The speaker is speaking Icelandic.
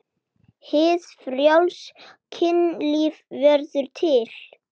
Hið frjálsa kynlíf verður til.